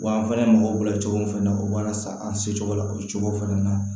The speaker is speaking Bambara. Wa an fana mago b'u bolo cogo min fana na o b'a lasa an se cogo la o ye cogo fɛnɛ na